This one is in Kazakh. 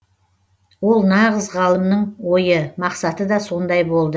ол нағыз ғалымның ойы мақсаты да сондай болды